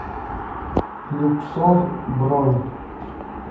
люксор бронь